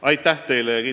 Aitäh!